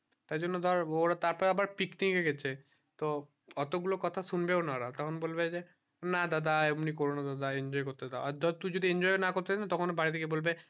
তাই জন্য ধর ওরা তার তার আবার picnic এ গেছে তো অতো গুলো কথা শুনবে ও না ওরা তখন বলবে না দাদা এমনি করো না দাদা enjoy করতে দাও তো ধর তুই যদি না enjoy করতে দিস তখন বাড়ি তে গিয়ে বলবে